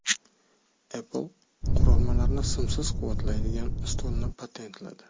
Apple qurilmalarni simsiz quvvatlaydigan stolni patentladi .